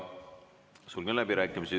Sulgen läbirääkimised.